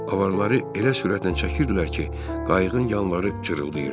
Avarları elə sürətlə çəkirdilər ki, qayığın yanları cırıldayırdı.